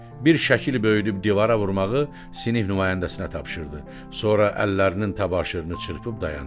Bir şəkil böyüdüb divara vurmağı sinif nümayəndəsinə tapşırdı, sonra əllərinin təbaşırını çırpıb dayandı.